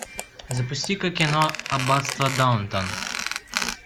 запусти ка кино аббатство даунтон